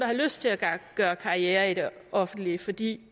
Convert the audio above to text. har lyst til at gøre karriere i det offentlige fordi